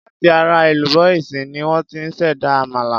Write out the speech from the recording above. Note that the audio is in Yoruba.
Láti ara èlùbọ́ iṣu ni wón ti ṣ'èdá àmàlà.